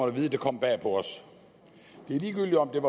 at vide det kom bag på os det er ligegyldigt om det